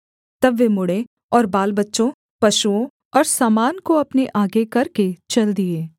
तब वे मुड़ें और बालबच्चों पशुओं और सामान को अपने आगे करके चल दिए